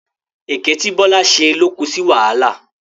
Èké tí Bọ́lá ṣe ló ko sí wàhálà.